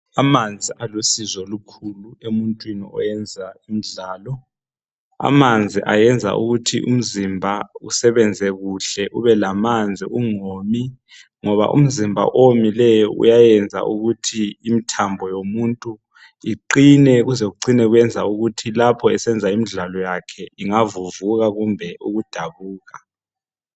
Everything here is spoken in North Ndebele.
Amanzi alusizo olukhulu emuntwini owenza imidlalo, amanzi ayenza ukuthi umzimba usebenze kuhle ubelamanzi ungomi, ngoba umzimba owomileyo uyayenza ukuthi imithambo yomuntu uqine ukuze kucine kuyenza ukuthi lapho esenza imidlalo ingavuvuka kumbe ukudabuka.